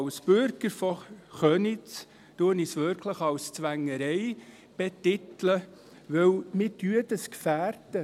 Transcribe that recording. Als Bürger von Köniz betitle ich es wirklich als Zwängerei, weil wir das Projekt damit gefährden.